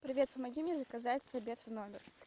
привет помоги мне заказать обед в номер